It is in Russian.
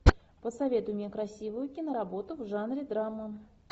посоветуй мне красивую киноработу в жанре драма